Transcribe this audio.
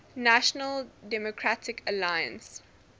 national democratic alliance